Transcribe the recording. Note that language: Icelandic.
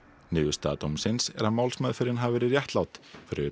niðurstaða dómsins er að málsmeðferðin hafi verið réttlát fyrir